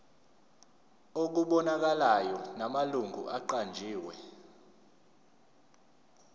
okubonakalayo namalungu aqanjiwe